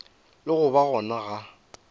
le go ba gona ga